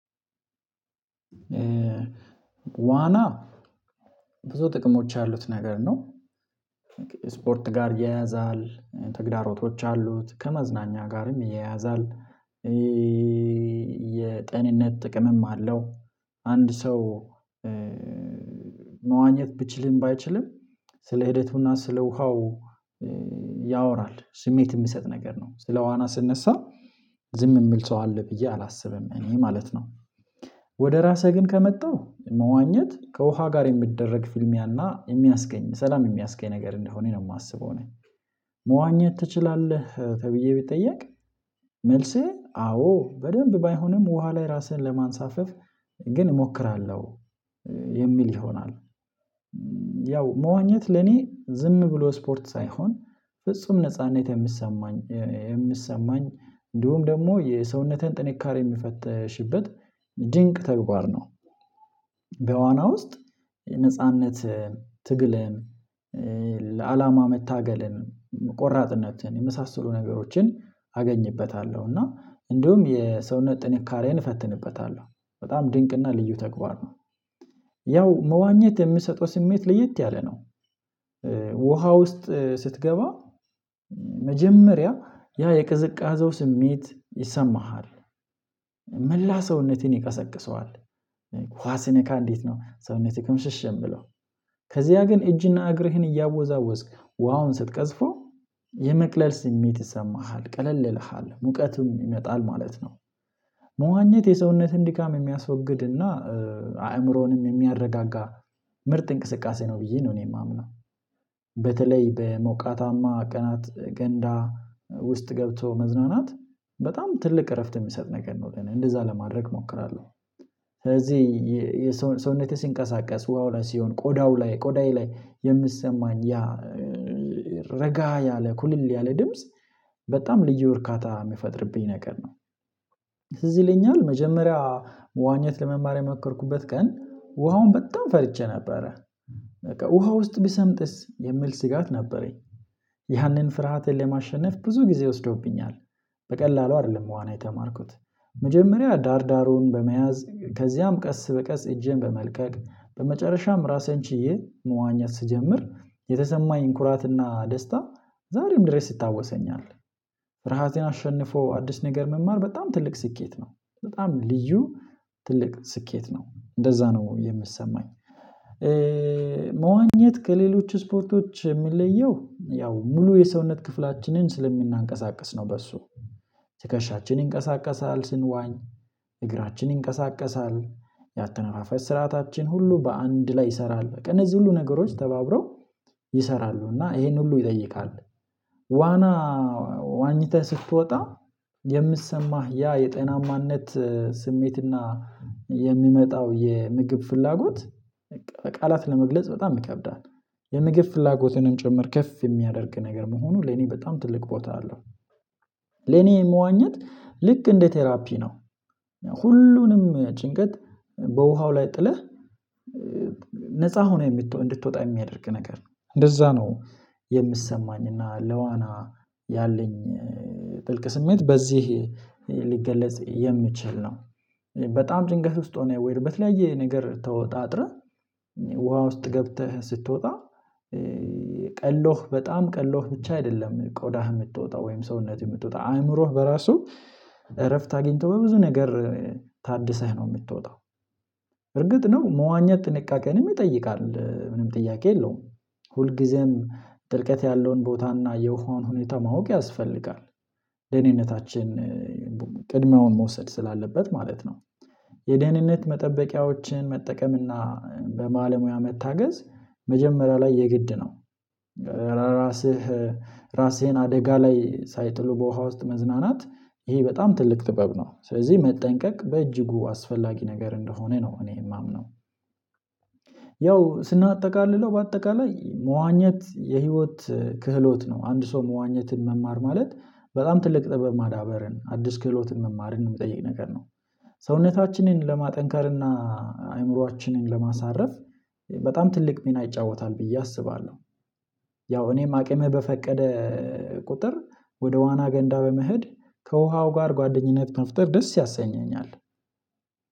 ዋና ብዙ ጥቅሞች ያሉት ነገር ነው። ስፖርት ጋር ይያያዛል ተግዳሮቶች አሉት ከመዝናኛ ጋርም ያያዛል። የጤንነት ጥቅምም አለው። አንድ ሰው መዋኘት ቢችልም ባይችልም ስለ ሂደቱና ስለ ውሃው። ያወራል ስሜት የሚሰጥ ነገር ነው ስለ ዋና ሲነሳ ዝም የሚል ሰው አለ ብዬ አላስብም እኔ ማለት ነው። ወደ ራሴ ግን ከመጣው መዋኘት ከውሃ ጋር የሚደረግ ፊልሚያና የሚያስገኝ ሰላም የሚያስገኝ ነገር እንደሆነ ነው የማስበው እኔ። መዋኘት ትችላለህ ተብዬ ቢጠየቅ መልሴ አዎ በደንብ ባይሆንም ውሃ ላይ ራሴን ለማንሳፈፍ ግን እሞክራለሁ የሚል ይሆናል። ያው መዋኘት ለኔ ዝም ብሎ ስፖርት ሳይሆን ፍጹም ነጻነት የሚሰማኝ የሚሰማኝ እንዲሁም ደግሞ የሰውነትን ጥንካሬ የምፈትሽበት ድንቅ ተግባር ነው። በዋና ውስጥ ነጻነት ትግልን ለአላማ መታገልን ቆራጥነትን የመሳሰሉ ነገሮችን አገኝበታለሁ እና እንዲሁም የሰውነት ጥንካሬን እፈትንበታለሁ። በጣም ድንቅና ልዩ ተግባር ነው። ያው መዋኘት የሚሰጠው ስሜት ለየት ያለ ነው። ውሃ ውስጥ ስትገባ መጀመሪያ ያ የቅዝቃዜው ስሜት ይሰማሃል። መላ ሰውነትን ይቀሰቅሰዋል። ውሃ ሲነካ እንዴት ነው ሰውነትህን ክምሽሽ የሚለው? ከዚያ ግን እጅና እግርህን እያወዛወዝክ ውሃውን ስትቀዝፈው የመቅለል ስሜት ይሰማሃል ቀለል ይልሀል ሙቀትም ይመጣል ማለት ነው። መዋኘት የሰውነትን ድካም የሚያስወግድና አእምሮንም የሚያረጋጋ ምርጥ እንቅስቃሴ ነው ብዬ ነው እኔ የማምነው። በተለይ በሞቃታማ ቀናት ገንዳ ውስጥ ገብቶ መዝናናት በጣም ትልቅ እረፍት የሚሰጥ ነገር ነው እንደዛ ለማድረግ እሞክራለሁ። ስለዚህ ሰውነቴ ሲንቀሳቀስ ውሃው ላይ ሲሆን ቆዳው ላይ ቆዳዬ ላይ የሚሰማኝ ያ ረጋ ያለ ኩልል ያለ ድምጽ በጣም ልዩ እርካታ የሚፈጥርብኝ ነገር ነው። ትዝ ይለኛል መጀመሪያ መዋኘት ለመማር የሞከርኩበት ቀን ውሃውን በጣም ፈርቼ ነበረ። በቃ ውሃ ውስጥ ብሰምጥስ የሚል ስጋት ነበረኝ። ያንን ፍርሀቴን ለማሸነፍ ብዙ ጊዜ ወስዶብኛል። በቀላሉ አይደለም ዋና የተማርኩት። መጀመሪያ ዳር ዳሩን በመያዝ ከዚያም ቀስ በቀስ እጄን በመልቀቅ በመጨረሻም ራሴን ችዬ መዋኘት ስጀምር የተሰማኝ ኩራትና ደስታ ዛሬም ድረስ ይታወሰኛል። ፍርሃትን አሸንፎ አዲስ ነገር መማር በጣም ትልቅ ስኬት ነው። በጣም ልዩ ትልቅ ስኬት ነው እንደዛ ነው የሚሰማኝ። መዋኘት ከሌሎች ስፖርቶች የምንለየው ያው ሙሉ የሰውነት ክፍላችንን ስለምናንቀሳቅስ ነው በሱ ትከሻችን ይንቀሳቀሳል ስንዋኝ እግራችን ይንቀሳቀሳል። ያተነፋፈስ ስርዓታችን ሁሉ በአንድ ላይ ይሰራል በቃ እነዚህ ሁሉ ነገሮች ተባብረው ይሰራሉ እና ይሄን ሁሉ ይጠይቃል። ዋና ዋኝተህ ስትወጣ የሚሰማህ ያ የጤናማነት ስሜትና የሚመጣው የምግብ ፍላጎት ቃላት ለመግለጽ በጣም ይከብዳል። የምግብ ፍላጎቴንም ጭምር ከፍ የሚያደርግ ነገር በመሆኑ ለኔ በጣም ትልቅ ቦታ አለው። ለኔ መዋኘት ልክ እንደ ቴራፒ ነው። ሁሉንም ጭንቀት በውሃው ላይ ጥለህ ነፃ ሆነህ እንድትወጣ የሚያደርግ ነገር ነው እንደዛ ነው። የሚሰማኝ እና ለዋና ያለኝ ጥልቅ ስሜት በዚህ ሊገለጽ የሚችል ነው። በጣም ጭንቀት ውስጥ ሆነህ ወይ በተለያየ ነገር ተወጣጥረህ ውሃ ውስጥ ገብተህ ስትወጣ። ቀሎህ በጣም ቀሎህ ብቻ አይደለም ቆዳህ የምትወጣ ወይም ሰውነትህ የምትወጣው አእምሮህ በራሱ እረፍት አግኝቶ በብዙ ነገር ታድሰህ ነው የምትወጣው። እርግጥ ነው መዋኘት ጥንቃቄንም ይጠይቃል ምንም ጥያቄ የለውም። ሁልጊዜም ድርቀት ያለውን ቦታ እና የውሃውን ሁኔታ ማወቅ ያስፈልጋል። ደህንነታችን ቅድሚያውን መውሰድ ስላለበት ማለት ነው። የደህንነት መጠበቂያዎችን መጠቀምና በባለሙያ መታገዝ መጀመሪያ ላይ የግድ ነው። ራስህ ራሴን አደጋ ላይ ሳይጥሉ በውሃ ውስጥ መዝናናት ይሄ በጣም ትልቅ ጥበብ ነው ስለዚህ መጠንቀቅ በእጅጉ አስፈላጊ ነገር እንደሆነ ነው እኔ የማምነው። ያው ስናጠቃልለው በአጠቃላይ መዋኘት የህይወት ክህሎት ነው አንድ ሰው መዋኘትን መማር ማለት በጣም ትልቅ ጥበብ ማዳበርን አዲስ ክህሎትን መማርን የሚጠይቅ ነገር ነው። ሰውነታችንን ለማጠንከር እና አይምሮአችንን ለማሳረፍ በጣም ትልቅ ሚና ይጫወታል ብዬ አስባለሁ። ያው እኔም አቅሜ በፈቀደ ቁጥር ወደ ዋና ገንዳ በመሄድ ከውሃው ጋር ጓደኝነት መፍጠር ደስ ያሰኘኛል።